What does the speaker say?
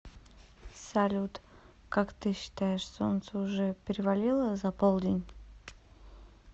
салют как ты считаешь солнце уже перевалило за полдень